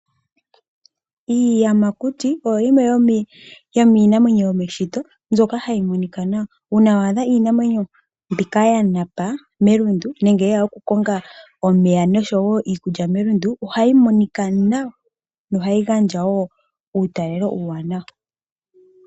Iiyamakuti nayo iinamwenyo yomeshito mbyoka hayi monika nawa. Uuna waadha iinamwenyo mbika ya napa melundu nenge yeya okukonga omeya oshowo iikulya melundu ohayi monika nawa nokugandja uutalelo uuwanawa.